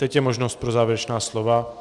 Teď je možnost pro závěrečná slova.